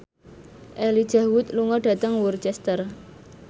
Elijah Wood lunga dhateng Worcester